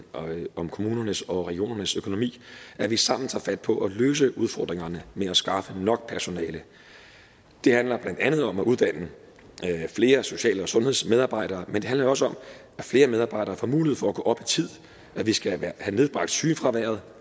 om kommunernes og regionernes økonomi at vi sammen tager fat på at løse udfordringerne med at skaffe nok personale det handler blandt andet om at uddanne flere social og sundhedsmedarbejdere men det handler jo også om at flere medarbejdere får mulighed for at gå op i tid at vi skal have nedbragt sygefraværet